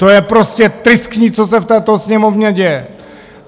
To je prostě tristní, co se v této Sněmovně děje.